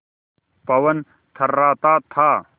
पवन थर्राता था